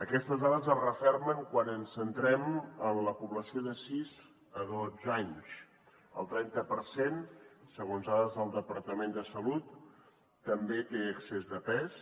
aquestes dades es refermen quan ens centrem en la població de sis a dotze anys el trenta per cent segons dades del departament de salut també té excés de pes